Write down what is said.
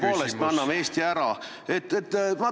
... mille tõttu me tõepoolest anname Eesti ära.